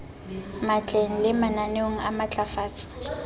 matleng le mananeong a matlafatso